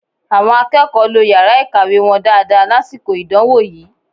Àwọn akẹ́kọ̀ọ́ lo yàrá ìkàwé wọn dáadáa lásìkò ìdánwò yìí